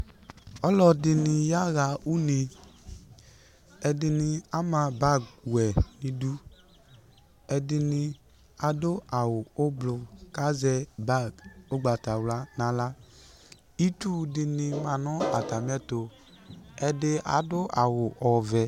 Ɔlɔdɩnɩ yaɣa une Ɛdɩnɩ ama bagwɛ nʋ idu Ɛdɩnɩ adʋ awʋ ʋblʋ kʋ azɛ bag ʋgbatawla nʋ aɣla Itsu dɩnɩ ma nʋ atamɩɛtʋ Ɛdɩ adʋ awʋ ɔvɛ